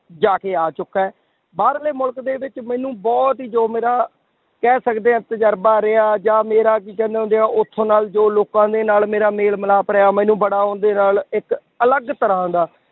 ਜਾ ਕੇ ਆ ਚੁਕਾ ਹੈਂ, ਬਾਹਰਲੇ ਮੁਲਕ ਦੇ ਵਿੱਚ ਮੈਨੂੰ ਬਹੁਤ ਹੀ ਜੋ ਮੇਰਾ ਕਹਿ ਸਕਦੇ ਹਾਂ ਤਜਰਬਾ ਰਿਹਾ ਜਾਂ ਮੇਰਾ ਕੀ ਕਹਿੰਦੇ ਹੁੰਦੇ ਹੈ ਉੱਥੋਂ ਨਾਲ ਜੋ ਲੋਕਾਂ ਦੇ ਨਾਲ ਮੇਰਾ ਮੇਲ ਮਿਲਾਪ ਰਿਹਾ ਮੈਨੂੰ ਬੜਾ ਉਹਦੇ ਨਾਲ ਇੱਕ ਅਲੱਗ ਤਰ੍ਹਾਂ ਦਾ